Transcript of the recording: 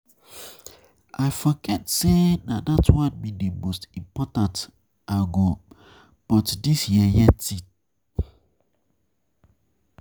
I forget say na dat one be the most important I go but dis yeye thing